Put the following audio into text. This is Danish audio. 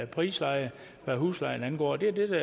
prisleje hvad huslejen angår det er det